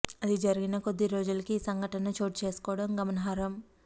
అది జరిగిన కొద్ది రోజులకే ఈ సంఘటన చోటు చేసుకోవడం గమనార్హం